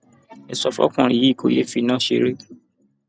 ẹ sọ fọkùnrin yìí kó yéé fi iná ṣeré